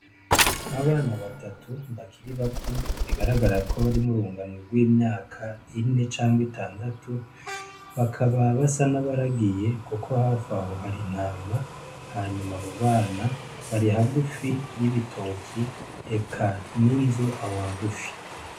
Abana batatu bakiri bato , bigaragara ko bari murunganwe rw'imyaka ine canke itandatu, bakaba basa n'abaragiye kuko haf'aho hari intama, hanyuma abo bana bari hagufi y'ibitoki eka n'inzu aho hagufi.